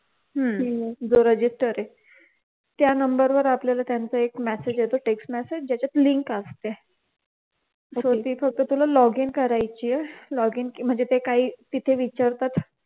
जो register आहे त्या नंबर वर आपल्याला एक message येतो त्यांचा text message ज्याच्यात लिंक असते तर ती लिंक फक्त तुला लॉगिन करायचेय लॉगिन म्हणजे जे काही तिथे विचारतात.